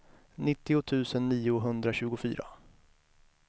nittio tusen niohundratjugofyra